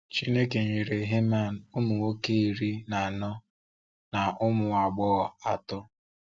Chineke nyere Heman ụmụ nwoke iri na anọ na ụmụ agbọghọ atọ.